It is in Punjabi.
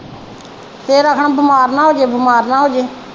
ਫਿਰ ਆਖਣਾ ਬਿਮਾਰ ਨਾ ਹੋਜੇ ਬਿਮਾਰ ਨਾ ਹੋਜੇ।